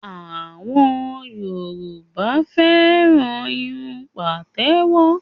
Àwọn Yorùbá fẹ́ràn irun pàtẹ́wọ́